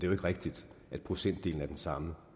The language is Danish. jo ikke rigtigt at procentdelen er den samme